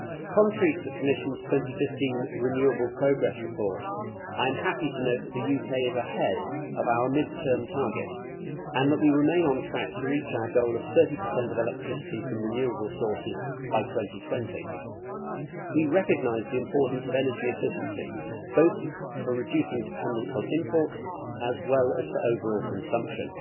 Contrary to the Commission's 2015 renewable energy progress report, I am happy to note that the UK is ahead of our mid term target and that we remain on track to reach our goal of 30 of electricity from renewable sources by 2020. We recognise the importance of energy efficiency both for reducing dependence on imports as well as for overall consumption.